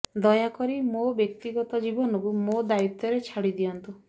ଦୟାକରି ମୋ ବ୍ୟକ୍ତିଗତ ଜୀବନକୁ ମୋ ଦାୟିତ୍ୱରେ ଛାଡି ଦିଅନ୍ତୁ